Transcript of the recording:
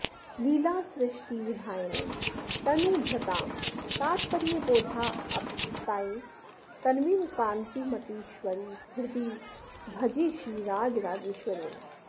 लीलासृष्टिविधायिनीं तनुभृतां तात्पर्यबोधाप्तये तन्वीं कान्तिमतीश्वरीं हृदि भजे श्रीराजराजेश्वरीम्